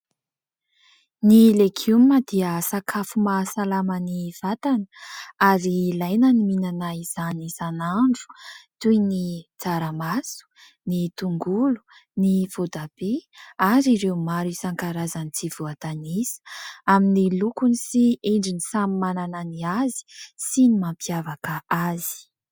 Ny legioma dia sakafo mahasalama ny vatana ary ilaina ny mihinana izany isan'andro, toy ny : tsaramaso, ny tongolo, ny voatabia ary ireo maro isan-karazany tsy voatanisa ; amin'ny lokony sy endriny samy manana ny azy sy ny mampiavaka azy.